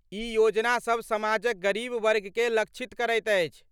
ई योजनासभ समाजक गरीब वर्गकेँ लक्षित करैत अछि।